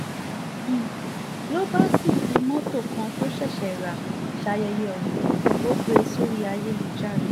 n ló bá sì fi mọ́tò kan tó ṣẹ̀ṣẹ̀ rà sáyẹyẹ ọ̀hún ò gbé e sórí ayélujára